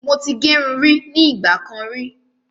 Mo ti gẹrun rí ní ìgbà kan rí